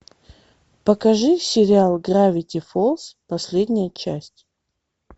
покажи сериал гравити фолз последняя часть